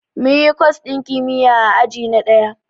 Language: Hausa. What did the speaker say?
Munyi kwas ɗin kimiyya a aji na ɗaya